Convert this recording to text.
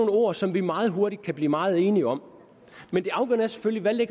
ord som vi meget hurtigt kan blive meget enige om men det afgørende er selvfølgelig